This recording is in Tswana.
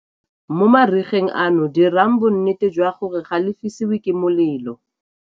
Mo marigeng ano dirang bonnete jwa gore ga le fisiwe ke molelo.